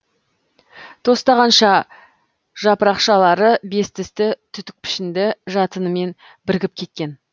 тостағанша жапырақшалары бестісті түтік пішінді жатынымен бірігіп кеткен